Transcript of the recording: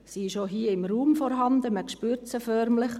Sie ist auch hier im Raum vorhanden, man spürt sie förmlich.